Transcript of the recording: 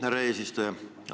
Härra eesistuja!